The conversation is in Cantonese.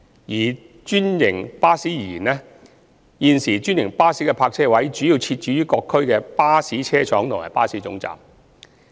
以專營巴士而言，現時專營巴士的泊位主要設置於各區的巴士車廠及巴士總站。